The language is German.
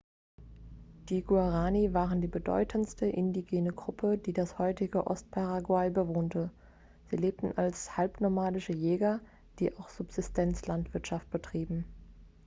die guaraní waren die bedeutendste indigene gruppe die das heutige ostparaguay bewohnte. sie lebten als halbnomadische jäger die auch subsistenzlandwirtschaft betrieben